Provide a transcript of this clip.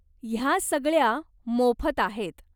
ह्या सगळ्या मोफत आहेत.